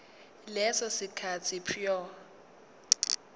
leso sikhathi prior